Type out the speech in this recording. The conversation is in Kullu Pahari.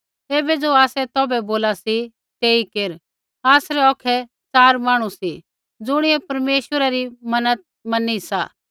ऐबै ज़ो आसै तौभै बोला सी तेई केर आसरै औखै च़ार मांहणु सी ज़ुणियै परमेश्वरा री मन्नत मैनी सा